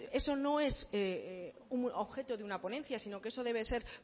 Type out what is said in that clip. eso no es un objeto de una ponencia sino que eso debe ser